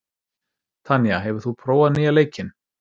Tanya, hefur þú prófað nýja leikinn?